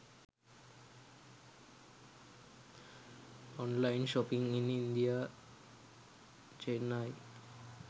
online shopping in india chennai